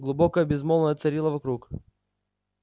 глубокое безмолвие царило вокруг